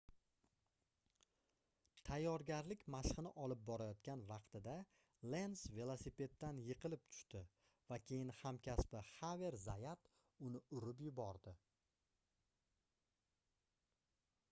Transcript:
tayyorgarlik mashqini olib borayotgan vaqtida lenz velosipeddan yiqilib tushdi va keyin hamkasbi xaver zayat uni urib yubordi